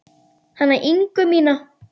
Hana Ingu mína.